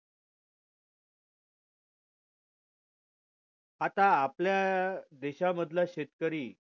आता आपल्या देशा मधला शेतकरी